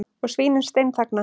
Og svínin steinþagna.